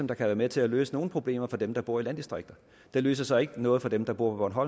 der kan være med til at løse nogle problemer for dem der bor i landdistrikter den løser så ikke noget for dem der bor på